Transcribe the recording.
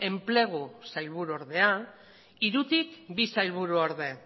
enplegu sailburuordea hirutik bi sailburuorde